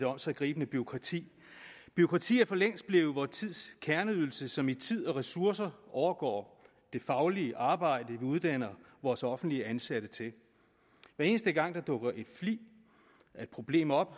omsiggribende bureaukrati bureaukrati er for længst blevet vor tids kerneydelse som i tid og ressourcer overgår det faglige arbejde vi uddanner vores offentligt ansatte til hver eneste gang der dukker en flig af et problem op